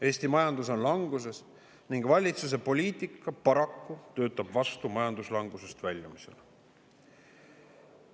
Eesti majandus on languses ning valitsuse poliitika paraku töötab vastu majanduslangusest väljumisele.